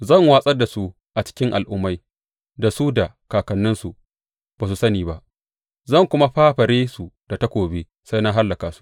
Zan watsar da su a cikin al’ummai da su da kakanninsu ba su sani ba, zan kuma fafare su da takobi sai na hallaka su.